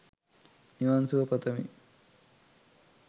නිවන් සුව පතමි